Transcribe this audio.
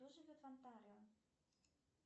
кто живет в онтарио